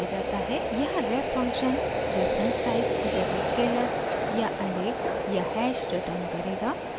यहाँ ref function reference type जैसे scalar या ऐरे या हैश रिटर्न करेगा